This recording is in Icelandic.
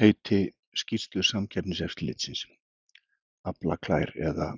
Heiti skýrslu Samkeppniseftirlitsins, Aflaklær eða